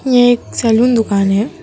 यह एक सैलून दुकान है।